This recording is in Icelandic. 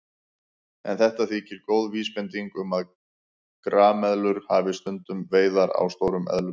En þetta þykir góð vísbending um að grameðlur hafi stundað veiðar á stórum eðlum.